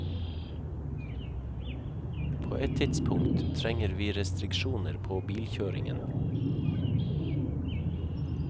På et tidspunkt trenger vi restriksjoner på bilkjøringen.